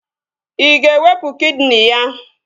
Ị ga-ewepụ kidini ya?